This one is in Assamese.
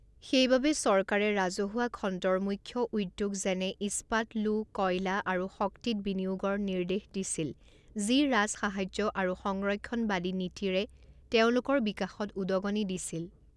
সেইবাবে চৰকাৰে ৰাজহুৱা খণ্ডৰ মুখ্য উদ্যোগ যেনে ইস্পাত লো কয়লা আৰু শক্তিত বিনিয়োগৰ নিৰ্দেশ দিছিল যি ৰাজসাহায্য আৰু সংৰক্ষণবাদী নীতিৰে তেওঁলোকৰ বিকাশত উদগনি দিছিল।